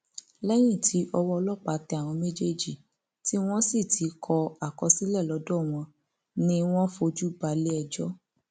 lẹyìn tí ọwọ ọlọpàá tẹ àwọn méjèèjì tí wọn sì ti kọ àkọsílẹ lọdọ wọn ni wọn fojú balẹẹjọ